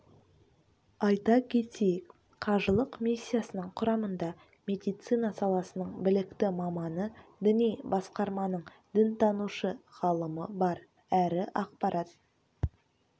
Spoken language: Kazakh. айта кетейік қажылық миссиясының құрамында медицина саласының білікті маманы діни басқарманың дінтанушы ғалымы бар әрі ақпарат